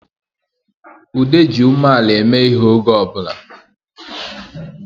Ude ji umeala eme ihe oge ọbụla